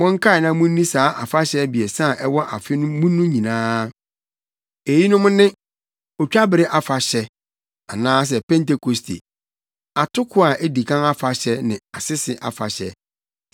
“Monkae na munni saa afahyɛ abiɛsa a ɛwɔ afe mu no nyinaa. Eyinom ne: Otwabere Afahyɛ (anaasɛ Pentekoste), Atoko a edi kan Afahyɛ ne Asese Afahyɛ.